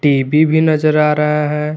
TV भी नजर आ रहा है।